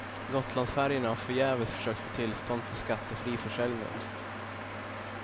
Gotlandsfärjorna har förgäves försökt få tillstånd för skattefri försäljning.